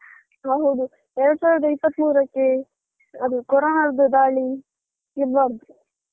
ಹೌದು ಎರಡು ಸಾವಿರದ ಇಪ್ಪತ್ತು ಮೂರಕ್ಕೆ ಅದು ಕೋರನದ್ದು ದಾಳಿ ಇರ್ಬಾರ್ದು.